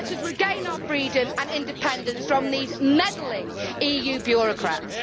Let us regain our freedom and independence from these meddling EU bureaucrats.